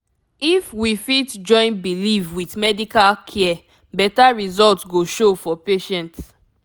if we fit join belief with medical care better result go show for patient